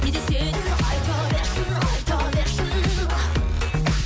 не десе де айта берсін айта берсін